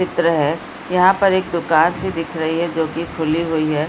चित्र है यहाँ पर एक दुकान सी दिख रही है जो की खुली हुई है ।